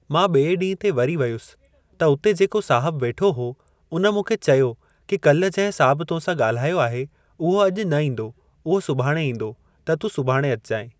मां ॿिए ॾींहं ते वरी वयसि त उते जेको साहिबु वेठो हो उन मूंखे चयो कि कल्ह जंहिं साहिब तो सां ॻाल्हायो आहे उहो अॼु न ईंदो, उहो सुभाणे ईंदो त तूं सुभाणे अचिजांइ।